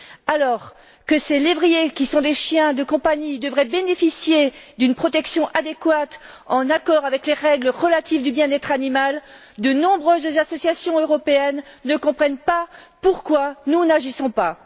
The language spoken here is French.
Alors que ces lévriers, qui sont des chiens de compagnie, devraient bénéficier d'une protection adéquate, en accord avec les règles relatives au bien être animal, de nombreuses associations européennes ne comprennent pas pourquoi nous n'agissons pas.